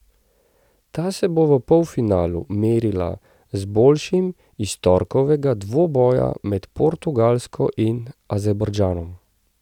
Ta se bo v polfinalu merila z boljšim iz torkovega dvoboja med Portugalsko in Azerbajdžanom.